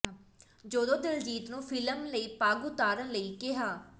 ਜਦੋਂ ਦਿਲਜੀਤ ਨੂੰ ਫਿਲਮ ਲਈ ਪੱਗ ਉਤਾਰਣ ਲਈ ਕਿਹਾ